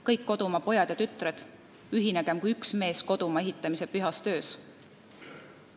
Kõik kodumaa pojad ja tütred, ühinegem kui üks mees kodumaa ehitamise pühas töös!